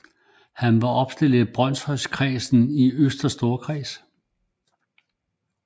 Han var opstillet i Brønshøjkredsen i Østre Storkreds